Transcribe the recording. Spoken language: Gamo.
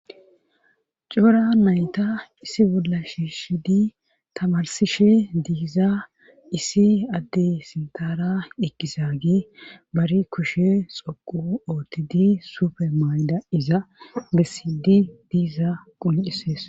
cora nayta issi bolla shiishidi tamarsishe diiza issi adde sintara eqqisagi bari kushe xoqu oottidi sufemayda iza desidi diiza quncisees